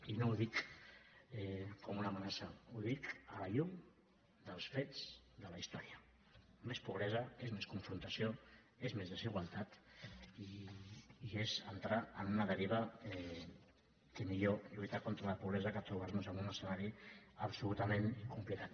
i no ho dic com una amenaça ho dic a la llum dels fets de la història més pobresa és més confrontació és més desigualtat i és entrar en una deriva que millor lluitar contra la pobresa que trobar nos en un escenari absolutament complicat